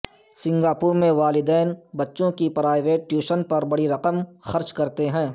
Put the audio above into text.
Singapore میں والدین بچوں کی پرائیویٹ ٹیوشن پر بڑی رقوم خرچ کرتے ہیں